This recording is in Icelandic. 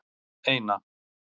eina